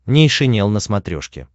нейшенел на смотрешке